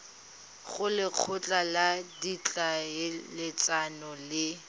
go lekgotla la ditlhaeletsano le